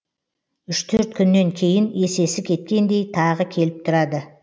үш төрт күннен кейін есесі кеткендей тағы келіп тұрады